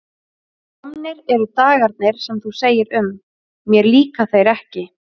Komnir eru dagarnir sem þú segir um: mér líka þeir ekki.